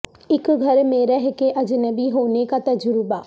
اک گھر میں رہ کے اجنبی ہونے کا تجربہ